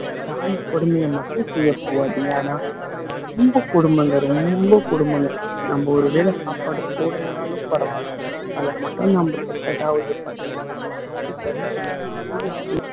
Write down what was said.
பிராணி கொடுமையை மட்டும் செய்ய போகாதீங்க ஆனா ரொம்ப கொடுமைங்க ரொம்ப கொடுமைங்க நம்ம ஒரு வேளை சாப்பாடு போடலைனாலும் பரவாயில்ல அதை மட்டும் நம்ம கெட்டதா இது பண்றதாகட்டும் அடிக்கிறதாகட்டும்